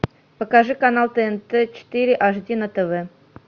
покажи канал тнт четыре аш ди на тв